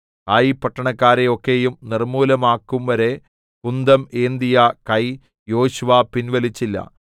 ഹായി പട്ടണക്കാരെ ഒക്കെയും നിർമ്മൂലമാക്കുംവരെ കുന്തം ഏന്തിയ കൈ യോശുവ പിൻവലിച്ചില്ല